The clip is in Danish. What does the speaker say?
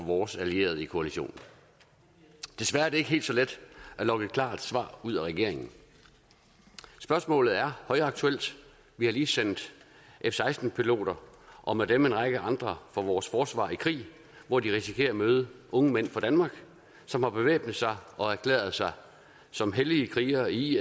vores allierede i koalitionen desværre er det ikke helt så let at lokke et klart svar ud af regeringen spørgsmålet er højaktuelt vi har lige sendt f seksten piloter og med dem en række andre fra vores forsvar i krig hvor de risikerer at møde unge mænd fra danmark som har bevæbnet sig og erklæret sig som hellige krigere i